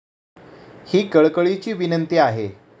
ही कळकळीची विनंती आहे.